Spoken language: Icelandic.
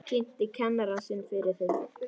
Kynnti kennara sinn fyrir þeim.